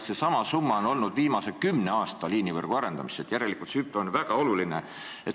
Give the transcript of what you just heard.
Seesama summa on antud viimasel kümnel aastal liinivõrgu arendamiseks, järelikult on hüpe väga suur.